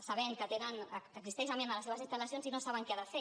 sabent que tenen que existeix amiant a les seves instal·lacions i no saben què han de fer